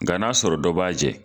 Nga n'a sɔrɔ dɔ b'a jɛn